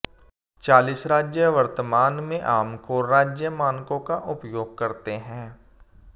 चालीस राज्य वर्तमान में आम कोर राज्य मानकों का उपयोग करते हैं